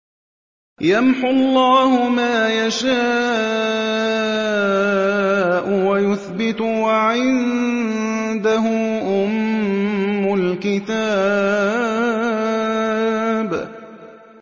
يَمْحُو اللَّهُ مَا يَشَاءُ وَيُثْبِتُ ۖ وَعِندَهُ أُمُّ الْكِتَابِ